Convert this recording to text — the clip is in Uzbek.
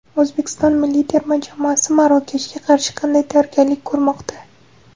O‘zbekiston milliy terma jamoasi Marokashga qarshi qanday tayyorgarlik ko‘rmoqda?